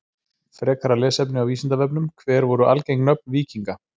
Frekara lesefni á Vísindavefnum: Hver voru algeng nöfn víkinga?